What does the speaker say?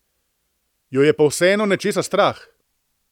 Jo je pa vseeno nečesa strah.